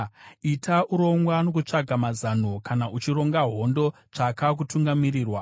Ita urongwa nokutsvaga mazano; kana uchironga hondo, tsvaka kutungamirirwa.